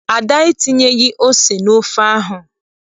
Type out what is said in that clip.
Ada entinyeghị ose n'ofe ahụ.